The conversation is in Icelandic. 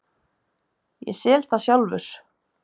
Ég sel það sjálfur.